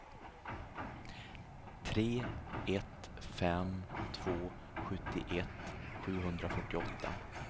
tre ett fem två sjuttioett sjuhundrafyrtioåtta